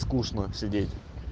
скучно сидеть